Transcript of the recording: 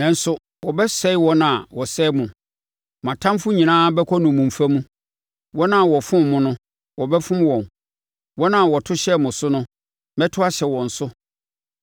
“ ‘Nanso wɔbɛsɛe wɔn a wɔsɛe mo; mo atamfoɔ nyinaa bɛkɔ nnommumfa mu. Wɔn a wɔfom mo no, wɔbɛfom wɔn. Wɔn a wɔto hyɛɛ mo so no, mɛto ahyɛ wɔn so.